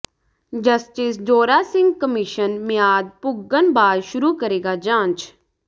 justice Zora Singh commission ਮਿਆਦ ਪੁੱਗਣ ਬਾਅਦ ਸ਼ੁਰੂ ਕਰੇਗਾ ਜਾਂਚ